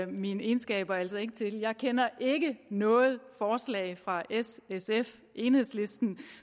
mine egenskaber altså ikke til jeg kender ikke noget forslag fra s sf enhedslisten